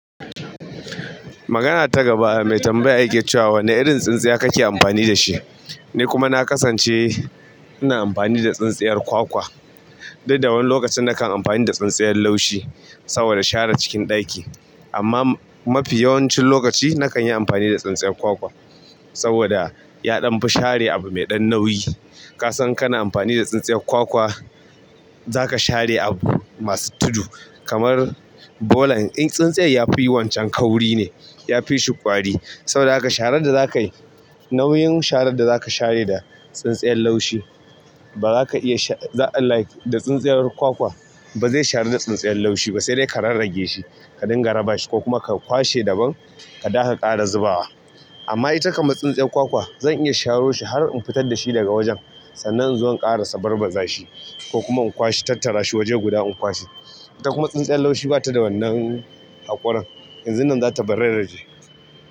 Magana ta gaba mai tambaya yake cewa wane irin tsintsiya kake amfani da shi? Ni kuma na kasance ina amfani da tsintsiyar kwakwa. Didda wani lokacin nakan amfani da tsintsiyar laushi saboda share cikin ɗaki. Amma mafi yawancin lokaci nakan yi amfani da tsintsiya kwakwa saboda ya ɗan fi share abu mai ɗan nauyi. Kasan kana amfani da tsintsiyar kwakwa za ka share abu masu tudu kamar bolan. In tsintsiya yafi wancan kauri ne, yafi shi ƙwari. Saboda haka sharar da zakai, nauyin sharar da za ka share da tsintsiyal laushi ba za ka iya sha-- za like da tsintsiyar kwakwa ba zai sharu da tsintsiyar laushi ba sai dai ka rarrage shi, ka dinga rabashi ko kuma ka kwashe daban ka dawo ha ƙara zubawa. Amma ita kamata tsintsiyar kwakwa zan iya sharo shi har in fitar da shi daga wajen sannan inzo in ƙara sa barbaza shi ko kuma in kwashe tattara shi waje guda in kwashe. Ita kuma tsintsiyal laushi bata da wannan haƙurin. Yanzun nan za ta bararraje.